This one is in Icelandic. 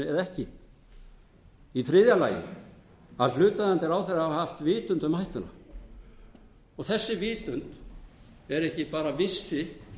sér grein fyrir hættunni eða ekki c að hlutaðeigandi ráðherra hafi haft vitund um hættuna þessi vitund er ekki bara vissi